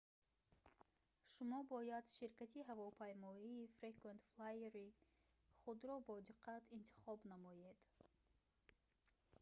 шумо бояд ширкати ҳавопаймоии frequent flyer-и худро бодиққат интихоб намоед